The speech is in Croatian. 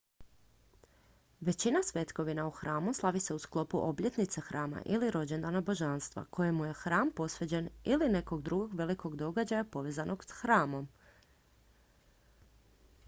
većina svetkovina u hramu slavi se u sklopu obljetnice hrama ili rođendana božanstva kojem je hram posvećen ili nekog drugog velikog događaja povezanog s hramom